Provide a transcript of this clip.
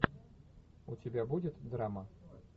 у тебя будет драма